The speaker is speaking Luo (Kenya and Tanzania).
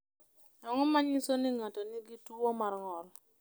Ang’o ma nyiso ni ng’ato nigi tuwo mar ng’ol?